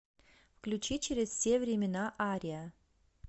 включи через все времена ария